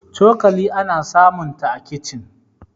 cokali ana samunta a kicin